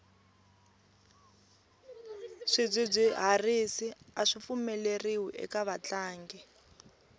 swidzidziharisi aswi pfumeleriwi eka vatlangi